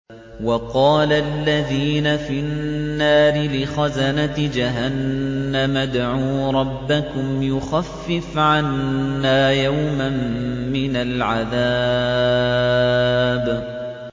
وَقَالَ الَّذِينَ فِي النَّارِ لِخَزَنَةِ جَهَنَّمَ ادْعُوا رَبَّكُمْ يُخَفِّفْ عَنَّا يَوْمًا مِّنَ الْعَذَابِ